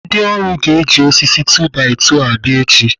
Ndị ọrụ ga-eji osisi 2-by-2 abịa echi.